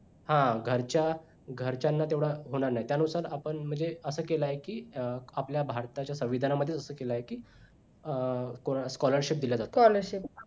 हा घरच्या घरच्यांना तेवढा होणार नाही त्यानुसार आपण म्हणजे असं केला आहे की आपल्या भारताच्या संविधानामध्ये असा केलाय की कोणा scholarship दिला जातो